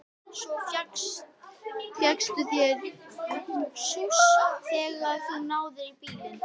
Svo fékkstu þér sjúss þegar þú náðir í bílinn.